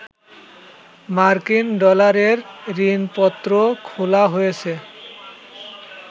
মার্কিন ডলারের ঋণপত্র খোলা হয়েছে